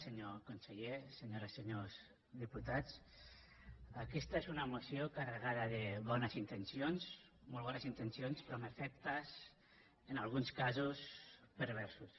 senyor conseller senyores i senyors diputats aquesta és una moció carregada de bones intencions molt bones intencions però amb efectes en alguns casos perversos